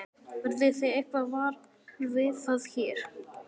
Verðið þið eitthvað varar við það hér?